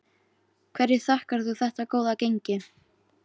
Hverju þakkar þú þetta góða gengi?